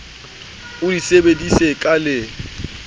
o di sebedise ka le